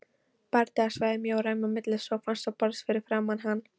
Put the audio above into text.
Bardagasvæðið mjó ræma milli sófans og borðs fyrir framan hann.